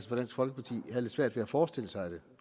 fra dansk folkeparti havde lidt svært ved at forestille sig det